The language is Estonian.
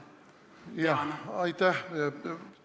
Jah, aitäh!